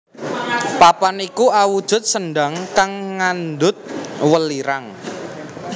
Papan iku awujud sendhang kang ngandhut welirang